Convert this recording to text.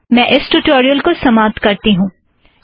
यहाँ मैं इस ट्यूटोरियल को समाप्त करती हूँ